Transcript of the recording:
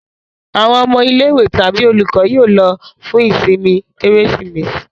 Àwọn ọmọ ilé-ìwé àti olùkọ́ yóò lọ fún ìsinmi Kérésìmesì.